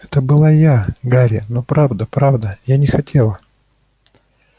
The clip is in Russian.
это была я гарри но правда-правда я не хотела